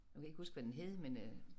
Nu kan jeg ikke huske hvad den hed men øh